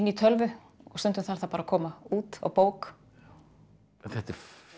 tölvu og stundum þarf það bara að koma út á bók en þetta er